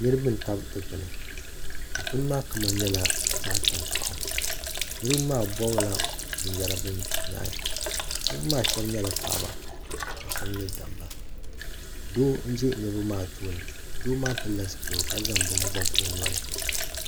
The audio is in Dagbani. Niriba n tabi dikpuni dikpuni maa kama nyɛla zaɣa tankpaɣu niriba maa bɔbi la bin yara bi nyehi niriba maa shɛba nyɛla paɣaba ka shɛba nyɛ dabba doo n ʒɛ niriba maa tooni doo maa pili la zipiligu ka zaŋ bini bɔbi o noli.